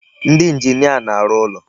Ndị engineer na-arụ ụlọ.